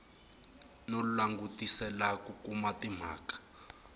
no langutisela ku kuma timhaka